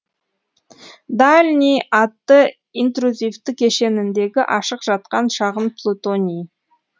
дальний атты интрузивті кешеніндегі ашық жатқан шағын плутоний